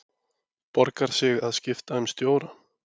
Borgar sig að skipta um stjóra?